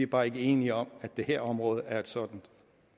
bare ikke enige om at det her område er et sådant